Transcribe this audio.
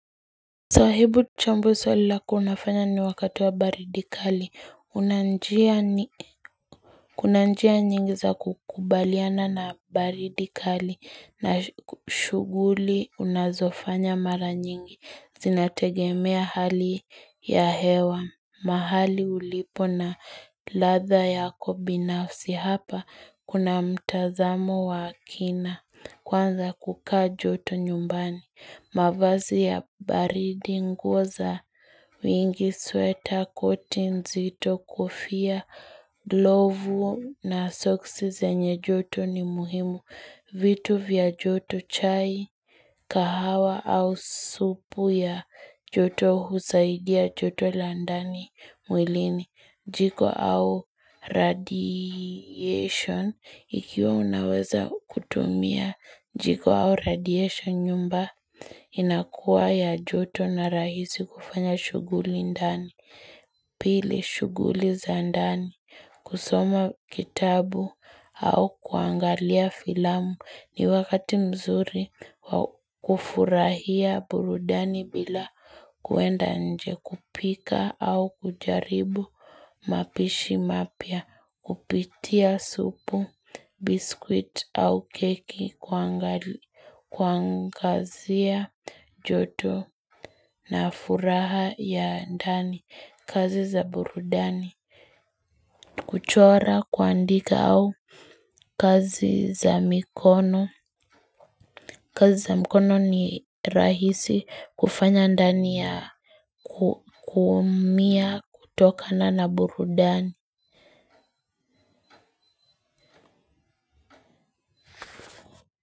Sahibu chambua swali lako unafanya ni wakati wa baridi kali, una njia kunanjia nyingi za kukubaliana na baridi kali, na shuguli unazofanya mara nyingi, zinategemea hali ya hewa, mahali ulipo na latha yako binafsi hapa, kuna mtazamo wa akina, kwanza kuka joto nyumbani mavazi ya baridi nguo za, wingi sweta, koti nzito kufia, glovu na sosksi zenye joto ni muhimu, vitu vya joto chai, kahawa au supu ya joto husaidia joto landani mwilini, jiko au radiation ikiwa unaweza kutumia. Jiko au radiation nyumba inakuwa ya joto na rahisi kufanya shuguli ndani. Pili shuguli za ndani kusoma kitabu au kuangalia filamu ni wakati mzuri kufurahia burudani bila kuenda nje kupika au kujaribu mapishi mapya. Kupitia supu, biskwiti au keki kwangazia joto na furaha ya ndani kazi za burudani. Kuchora kuandika au kazi za mikono. Kazi za mikono ni rahisi kufanya ndani ya kumia kutokana na burudani.